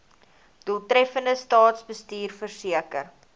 doeltreffende staatsbestuur verseker